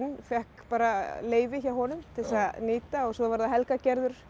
fékk bara leyfi hjá honum til þess að nýta og svo var það Helga Gerður